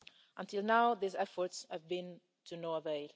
Until now, these efforts have been to no avail.